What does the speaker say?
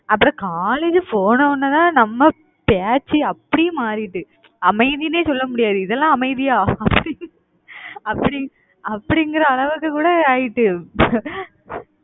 அப்புறம் college போன உடனேதான், நம்ம பேச்சு அப்படியே மாறிடுது. அமைதின்னே சொல்ல முடியாது. இதெல்லாம் அமைதியா அப்படி அப்படிங்~ அப்படிங்கிற அளவுக்கு கூட ஆயிட்டு